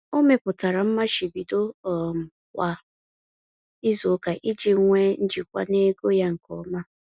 Ọ mepụtara mmachibido um kwa izuụka iji nwe njikwa n'ego ya nke ọma.